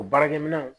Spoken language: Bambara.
O baarakɛminɛnw